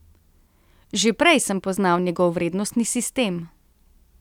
Že prej sem poznal njegov vrednostni sistem.